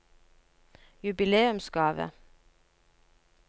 jubileumsgave